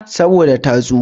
Saboda ta tsufa.